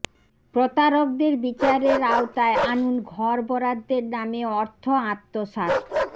প্রতারকদের বিচারের আওতায় আনুন ঘর বরাদ্দের নামে অর্থ আত্মসাৎ